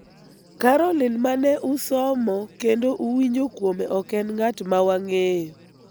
Caroline ma ne usomo kendo uwinjo kuome ok en ng�at ma wang�eyo.